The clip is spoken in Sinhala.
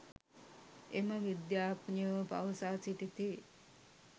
එම විද්‍යාඥයෝ පවසා සිටිති